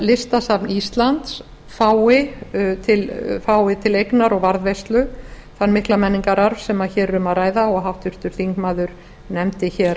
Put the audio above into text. listasafn íslands fái til eignar og varðveislu þann mikla menningararf sem hér er um að ræða og háttvirtur þingmaður nefndi hér